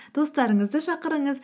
достарыңызды шақырыңыз